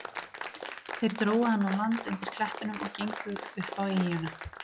Þeir drógu hann á land undir klettunum og gengu upp á eyjuna.